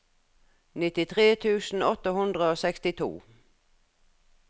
nittitre tusen åtte hundre og sekstito